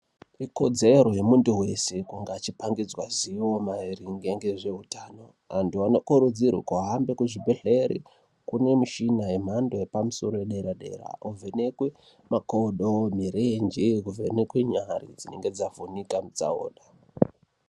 Ikodzero yemuntu vese kungaa achipangidzwa zivo maringe ngezvehutano. Antu anokurudzirwe kuhambe kuzvibhedhlere kune michina yemhando yepamusoro yedera-dera, kovhenekwe makodo, mirenje kuvhenekwe nyari dzinonga dzavhinika mutsaona.